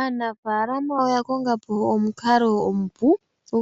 aanafalama oya konga po omukalo omupu